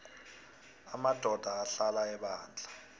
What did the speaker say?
amadoda ahlala ebandla